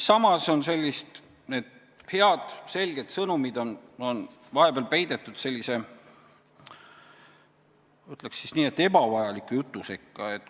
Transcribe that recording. Samas on need head selged sõnumid vahepeal peidetud sellise, ma ütleksin nii, ebavajaliku jutu sekka.